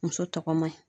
Muso tɔgɔ man ɲi